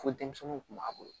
Fo denmisɛnninw kun b'a bolo